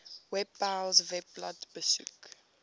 webpals webblad besoek